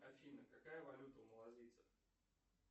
афина какая валюта у малазийцев